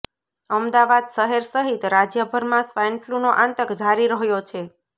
અમદાવાદ શહેર સહિત રાજ્યભરમાં સ્વાઈન ફ્લુનો આતંક જારી રહ્યો છે